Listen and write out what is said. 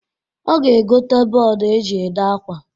Ọ ga-egota bọd e ji ede akwa.